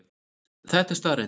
Þetta er staðreynd